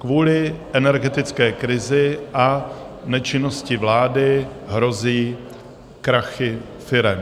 Kvůli energetické krizi a nečinnosti vlády hrozí krachy firem.